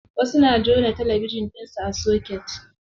Wasu na jona talabijin ɗinsu a soket.